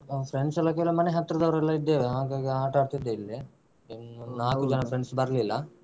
ನಾವು friends ಎಲ್ಲ ಕೆಲವ್ ಮನೆಹತ್ರದವರು ಎಲ್ಲ ಇದ್ದೇವೆ ಹಾಗಾಗಿ ಆಟಾಡ್ತಿದ್ದೆ ಇಲ್ಲೇ ಒಂದ್ ನಾಲ್ಕು ಜನ friends ಬರ್ಲಿಲ್ಲ.